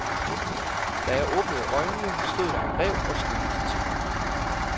Da jeg åbnede øjnene, stod der en ræv og snuste til mig.